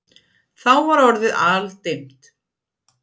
Þá var orðið aldimmt.